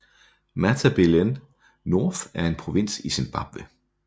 Matabeleland North er en provins i Zimbabwe